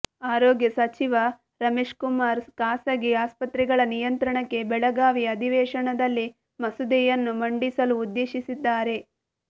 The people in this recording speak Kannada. ಆರೋಗ್ಯ ಸಚಿವ ರಮೇಶ್ಕುಮಾರ್ ಖಾಸಗಿ ಆಸ್ಪತ್ರೆಗಳ ನಿಯಂತ್ರಣಕ್ಕೆ ಬೆಳಗಾವಿ ಅಧಿವೇಶನದಲ್ಲಿ ಮಸೂದೆಯನ್ನು ಮಂಡಿಸಲು ಉದ್ದೇಶಿಸಿದ್ದಾರೆ